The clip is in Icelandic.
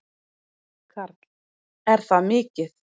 Karl: Er það mikið?